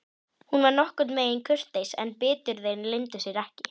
Hún var nokkurn veginn kurteis en biturðin leyndi sér ekki.